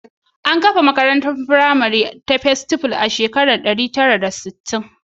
An kafa makarantar firamare ta Festival a shekara ta 1960.